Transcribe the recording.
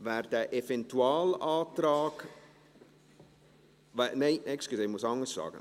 Wer den Eventualantrag … Nein, entschuldigen Sie, ich muss anders fragen.